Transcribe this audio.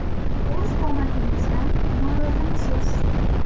O‘z qomatingizdan norozimisiz?